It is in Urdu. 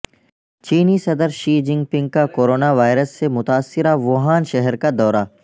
چینی صدر شی جن پنگ کا کورونا وائرس سے متاثرہ ووہان شہر کا دورہ